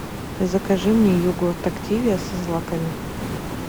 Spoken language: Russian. закажи мне йогурт активия со злаками